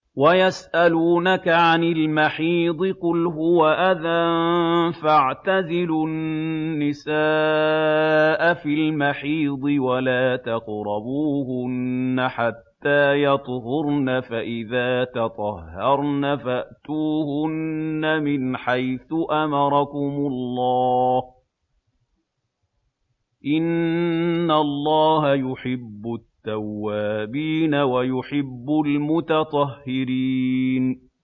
وَيَسْأَلُونَكَ عَنِ الْمَحِيضِ ۖ قُلْ هُوَ أَذًى فَاعْتَزِلُوا النِّسَاءَ فِي الْمَحِيضِ ۖ وَلَا تَقْرَبُوهُنَّ حَتَّىٰ يَطْهُرْنَ ۖ فَإِذَا تَطَهَّرْنَ فَأْتُوهُنَّ مِنْ حَيْثُ أَمَرَكُمُ اللَّهُ ۚ إِنَّ اللَّهَ يُحِبُّ التَّوَّابِينَ وَيُحِبُّ الْمُتَطَهِّرِينَ